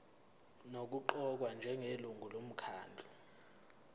nokuqokwa njengelungu lomkhandlu